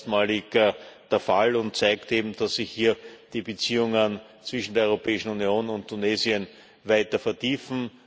Das ist erstmalig der Fall und zeigt eben, dass sich die Beziehungen zwischen der Europäischen Union und Tunesien weiter vertiefen.